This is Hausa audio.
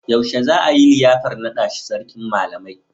Yaushe zai yi liyafar naɗa shi Sarkin Malamai?